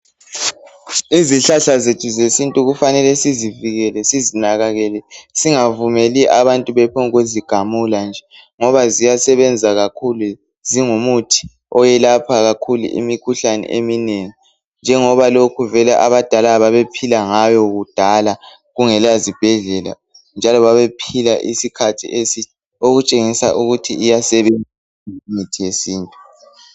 Izihlahla zethu zesintu kufanele sizivikele sizinakekele singa vumeli abantu bephombu kuzigamula nje Ngoba ziyasebenza kakhulu zingumuthi owelapha kakhulu imikhuhlane eminengi . Njengoba lokhu vele abadala babephila ngayo kudala kungela zibhedlela. Njalo babephila isikhathi eside okutshengisa ukuthi iyasebenza imithi yesintu .